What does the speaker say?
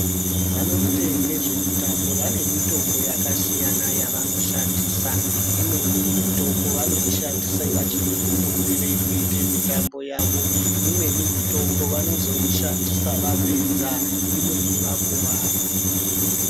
Vanoite ngezvemutambo vane mitombo yakasiyana yavanoshandisa, imweni mitombo vanoishandisa vachiri kufundire kuite mitambo yavo, imweni mitombo vanozoishandisa vapedza, imweni vakuwara.